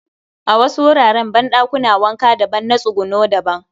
A wasu wuraren banɗakuna wanka daban na tsuguno daban